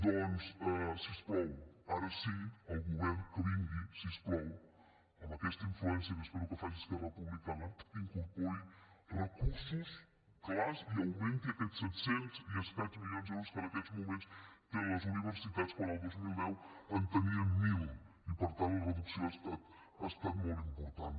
doncs si us plau ara sí el govern que vingui si us plau amb aquesta influència que espero que faci esquerra republicana que incorpori recursos clars i augmenti aquests set cents i escaig milions d’euros que en aquests moments tenen les universitats quan el dos mil deu en tenien mil i per tant la reducció ha estat molt important